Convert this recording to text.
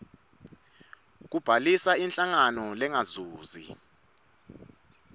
kubhalisa inhlangano lengazuzi